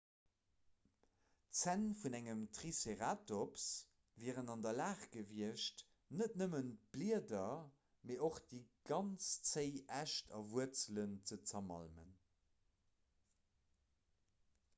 d'zänn vun engem triceratops wieren an der lag gewiescht net nëmmen d'blieder mee och déi ganz zéi äscht a wuerzelen ze zermalmen